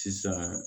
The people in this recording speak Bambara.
Sisan